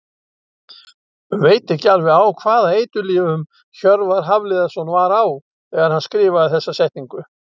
Veit ekki alveg á hvaða eiturlyfjum Hjörvar Hafliðason var á þegar hann skrifaði þessa setningu.